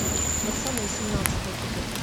пацаны семнадцатый эпизод